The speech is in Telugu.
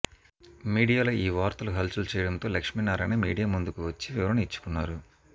మీడియాలో ఈ వార్తలు హల్చల్ చేయడంతో లక్ష్మీనారాయణ మీడియా ముందుకు వచ్చి వివరణ ఇచ్చుకున్నారు